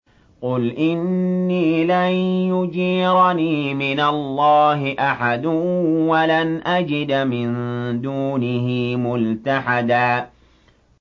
قُلْ إِنِّي لَن يُجِيرَنِي مِنَ اللَّهِ أَحَدٌ وَلَنْ أَجِدَ مِن دُونِهِ مُلْتَحَدًا